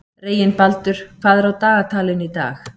Reginbaldur, hvað er á dagatalinu í dag?